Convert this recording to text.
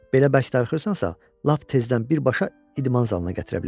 Belə bərk darıxırsansa, lap tezdən birbaşa idman zalına gətirə bilərəm.